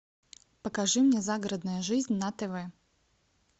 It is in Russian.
покажи мне загородная жизнь на тв